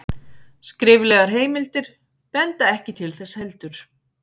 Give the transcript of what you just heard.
skriflegar heimildir benda ekki til þess heldur